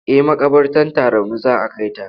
Eh maƙabartar Tarauni za a kai ta.